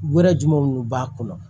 Wɛrɛ jumɛn minnu b'a kɔnɔ